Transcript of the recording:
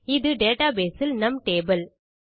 அது டேட்டாபேஸ் இல் நம் டேபிள்